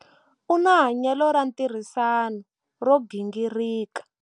U na hanyelo ra ntirhisano ro gingirika.